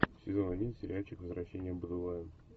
сезон один сериальчик возвращение будулая